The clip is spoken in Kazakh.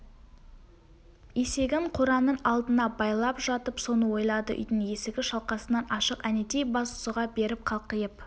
есегін қораның алдына байлап жатып соны ойлады үйдің есігі шалқасынан ашық әнетей бас сұға беріп қалқиып